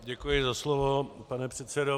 Děkuji za slovo, pane předsedo.